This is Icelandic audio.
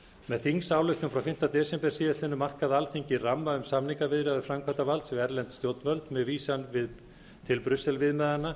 með þingsályktun frá fimmta desember síðastliðnum markaði alþingi ramma um samningaviðræður framkvæmdarvalds við erlend stjórnvöld með vísan til brussel viðmiðanna